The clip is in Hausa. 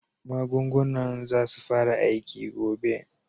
Magungunan zasu fara aiki gobe.